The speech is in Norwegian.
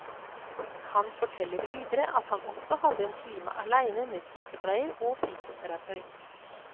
Han forteller videre at han også hadde en time alene med sykepleier og fysioterapeut.